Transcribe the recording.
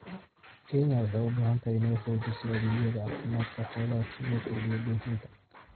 Kenya waxay u baahan tahay inay xoojiso adeegyada caafimaadka xoolaha si loo kordhiyo dhoofinta.